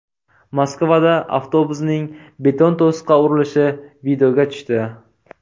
Moskvada avtobusning beton to‘siqqa urilishi videoga tushdi.